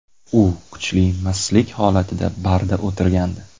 U kuchli mastlik holatida barda o‘tirgandi.